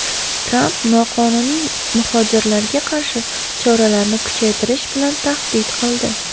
Tramp noqonuniy muhojirlarga qarshi choralarni kuchaytirish bilan tahdid qildi.